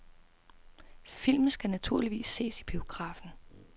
Film skal naturligvis ses i biografen.